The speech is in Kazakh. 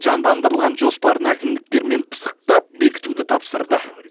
жандандырылған жоспарын әкімдіктермен пысықтап бекітуді тапсырды